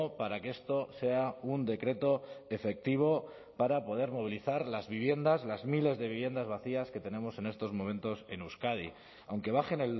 para que esto sea un decreto efectivo para poder movilizar las viviendas las miles de viviendas vacías que tenemos en estos momentos en euskadi aunque bajen